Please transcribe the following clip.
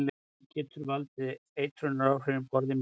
Hann getur valdið eitrunaráhrifum borði menn mikið af honum.